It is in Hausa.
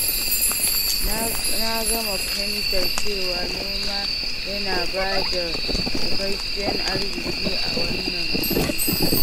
Na gama fahimtar cewa noma yana ba da cikakken arziki a wannan duniyar.